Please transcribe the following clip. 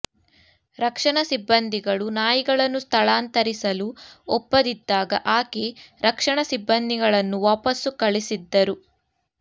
ರಕ್ಷಣಾ ಸಿಬ್ಬಂದಿಗಳು ನಾಯಿಗಳನ್ನು ಸ್ಥಳಾಂತರಿಸಲು ಒಪ್ಪದಿದ್ದಾಗ ಆಕೆ ರಕ್ಷಣಾ ಸಿಬ್ಬಂದಿಗಳನ್ನು ವಾಪಸ್ಸು ಕಳಿಸಿದ್ದರು